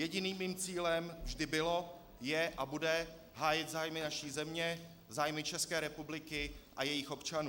Jediným mým cílem vždy bylo, je a bude hájit zájmy naší země, zájmy České republiky a jejích občanů.